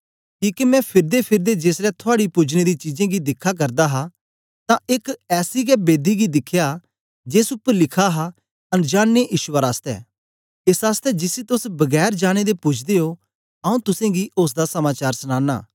किके मैं फिरदेकिरदे जेसलै थुआड़ी पुजने दी चीजें गी दिखा करदा हा तां एक ऐसी के बेदी बी दिखी जेस उपर लिखा हा अनजाने ईश्वर आसतै एस आसतै जिसी तोस बगैर जाने दे पूजदे ओ आंऊँ तुसेंगी ओसदा समाचार सनाना